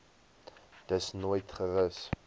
dus nooit gerus